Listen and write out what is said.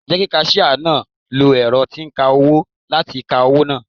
Jẹ́ kí kasíà náà lo ẹ̀rọ tí ń kawó láti ka owó náà.